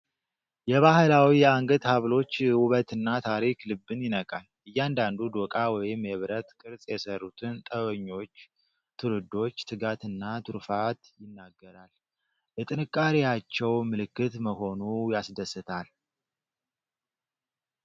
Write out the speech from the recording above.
የባህላዊ የአንገት ሐብሎች ውበትና ታሪክ ልብን ይነካል። እያንዳንዱ ዶቃ ወይም የብረት ቅርጽ የሠሩትን ጥበበኞች ትውልዶች ትጋትና ትሩፋት ይናገራል! የጥንካሬያቸው ምልክት መሆኑ ያስደስታል!